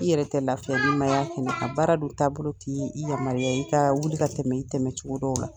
I yɛrɛ tɛ lafiya n'i ma t'a kɛnɛ kan. Baara dun taabolo t'i yamaruyaya i ka wuli ka tɛmɛ i tɛmɛ cogo dɔw la.